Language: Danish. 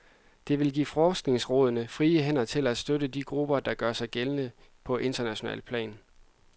De vil give forskningsrådene frie hænder til at støtte de grupper, der gør sig gældende på internationalt plan.